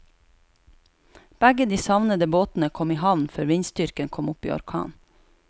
Begge de savnede båtene kom i havn før vindstyrken kom opp i orkan.